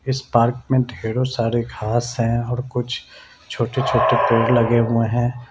इस पार्क में ढेरो सारे घास है और कुछ छोटे-छोटे पेड़ लगे हुए है।